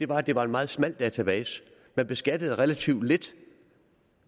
var at det var en meget smal skattebase man beskattede relativt lidt